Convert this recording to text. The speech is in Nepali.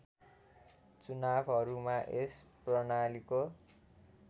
चुनावहरूमा यस प्रणालीको